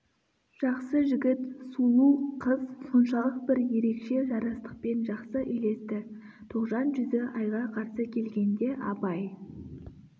жақсы жігіт сулу қыз соншалық бір ерекше жарастықпен жақсы үйлесті тоғжан жүзі айға қарсы келгенде абай